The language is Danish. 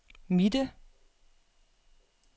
midte